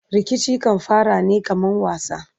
Rikici kan fara ne kaman wasa